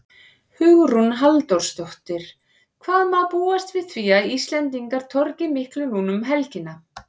Hugrún Halldórsdóttir: Hvað má búast við því að Íslendingar torgi miklu núna um helgina?